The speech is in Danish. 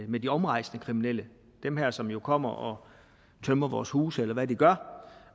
med de omrejsende kriminelle dem som jo kommer og tømmer vores huse eller hvad de gør